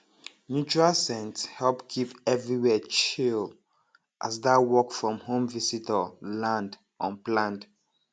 neutral scent help keep everywhere chill as that work from home visitor land unplanned